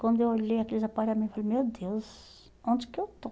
Quando eu olhei aqueles aparelhos, eu falei, meu Deus, onde que eu estou?